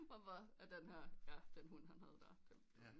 Hvorfor er den her ja den hund han havde der